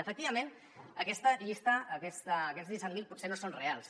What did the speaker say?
efecti·vament aquesta llista aquests disset mil potser no són reals